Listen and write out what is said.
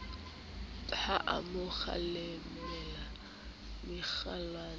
ha a mo kgalemella mekgwanyana